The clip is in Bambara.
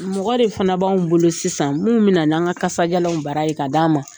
Mɔgɔ de fana b'an bolo sisan minnu bɛ na n'an ka kasajalanw bara ye ka d'an ma